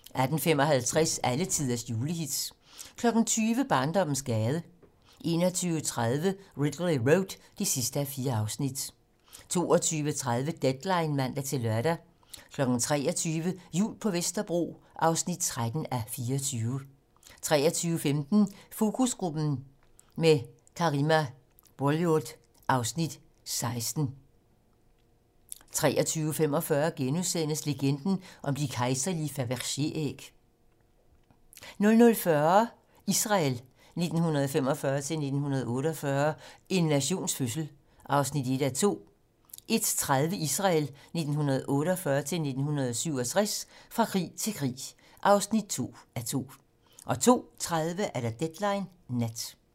18:55: Alletiders julehits 20:00: Barndommens gade 21:30: Ridley Road (4:4) 22:30: Deadline (man-lør) 23:00: Jul på Vesterbro (13:24) 23:15: Fokusgruppen - med Karima Bouylud (Afs. 16) 23:45: Legenden om de kejserlige Fabergé-æg * 00:40: Israel 1945-1948 - en nations fødsel (1:2) 01:35: Israel 1948-1967 - fra krig til krig (2:2) 02:30: Deadline nat